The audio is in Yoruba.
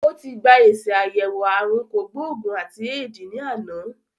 Ó ti gba èsì àyẹ̀wò ààrùn kògbó-ògùn àti éèdì ní àná